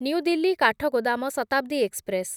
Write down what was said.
new Delhi Kathgodam Shatabdi express